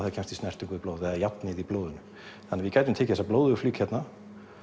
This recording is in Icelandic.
það kemst í snertingu við blóðið eða járnið í blóðinu þannig að við gætum tekið þessa blóðugu flík hérna